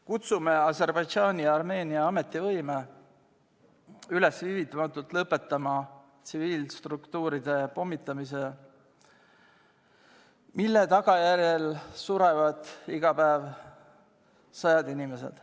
Kutsume Aserbaidžaani ja Armeenia ametivõime üles viivitamatult lõpetama tsiviilstruktuuride pommitamist, mille tagajärjel surevad iga päev sajad inimesed.